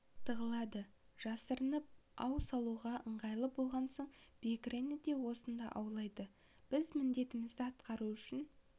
тығылады жасырынып ау салуға ыңғайлы болған соң бекірені де осында аулайды біз міндетімізді атқару үшін